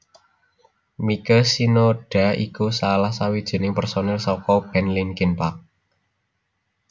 Mike Shinoda iku salah sawijining pérsonil saka band Linkin Park